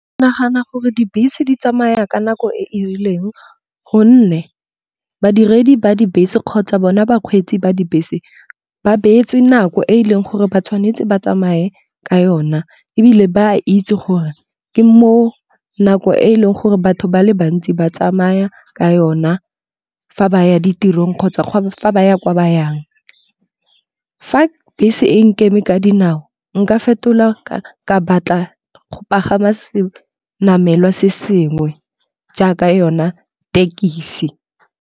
Nagana gore dibese di tsamaya ka nako e e rileng gonne, badiredi ba dibese kgotsa bona bakgweetsi ba dibese ba beetswe nako e e leng gore ba tshwanetse ba tsamaye ka yona. Ebile ba a itse gore ke mo nako e e leng gore batho ba le bantsi ba tsamaya ka yona fa ba ya ditirong kgotsa fa ba ya kwa ba yang. Fa bese e nkeme ka dinao nka fetola ka batla go pagama se namelwa se sengwe jaaka yona thekisi.